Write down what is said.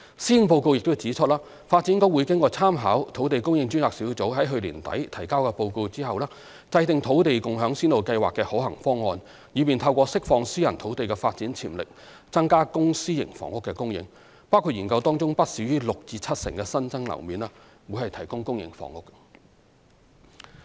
施政報告亦指出，發展局會在參考土地供應專責小組在去年年底提交的報告後，制訂"土地共享先導計劃"的可行方案，以便透過釋放私人土地的發展潛力，增加公、私營房屋的供應，包括研究當中不少於六至七成新增樓面提供公營房屋。